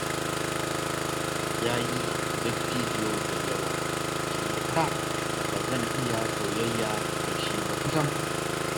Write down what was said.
Ya yi dattijo da yawa, shi ya sa ba zan iya soyayya da shi ba sam